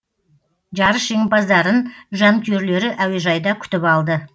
жарыс жеңімпаздарын жанкүйерлері әуежайда күтіп алды